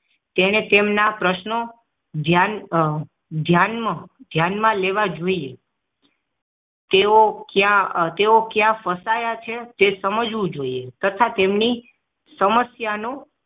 અને તેમના પ્રશ્નો ધ્યાન ધ્યાનમાં ધ્યાનમાં લેવા જોઈએ તેવો કયા તેવો કયા ફસાયા છે તે સમજવું જોઈએ તથા તેમની સમસ્યાનું